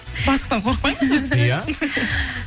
бастықтан қорықпаймыз біз иә